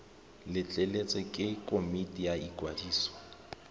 letleletswe ke komiti ya ikwadiso